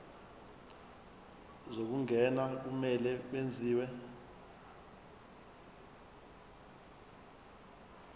zokungena kumele kwenziwe